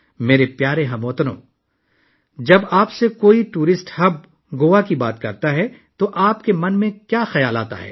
میرے پیارے ہم وطنو، جب کوئی سیاحوں کے مرکز گوا کے بارے میں بات کرتا ہے تو آپ کے ذہن میں کیا آتا ہے؟